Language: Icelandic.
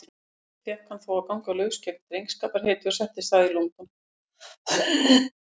Sem kapteinn fékk hann þó að ganga laus gegn drengskaparheiti og settist að í London.